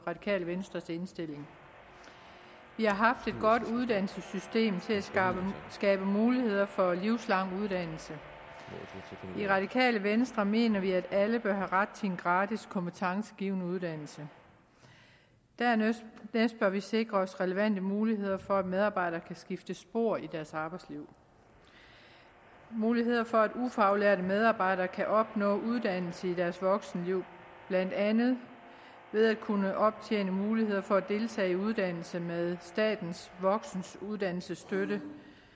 radikale venstres indstilling vi har haft et godt uddannelsessystem til at skabe muligheder for livslang uddannelse i det radikale venstre mener vi at alle bør have ret til en gratis kompetencegivende uddannelse dernæst bør vi sikre os relevante muligheder for at medarbejdere kan skifte spor i deres arbejdsliv og muligheder for at ufaglærte medarbejdere kan opnå uddannelse i deres voksenliv blandt andet ved at kunne optjene mulighed for at deltage i uddannelse med statens voksenuddannelsesstøtte